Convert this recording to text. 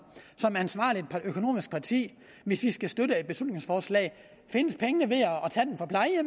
ansvarligt økonomisk parti hvis vi skal støtte et beslutningsforslag findes pengene